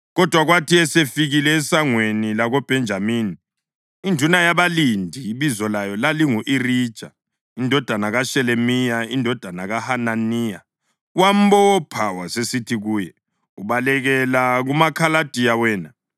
Kodwa kwathi esefikile eSangweni lakoBhenjamini, induna yabalindi ebizo layo lalingu-Irija indodana kaShelemiya, indodana kaHananiya, wambopha wasesithi kuye, “Ubalekela kumaKhaladiya wena!”